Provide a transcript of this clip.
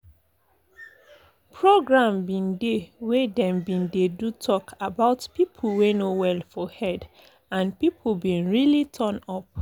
program bin dey wey them bin dey do to talk about people wey no well for head and people bin really turn up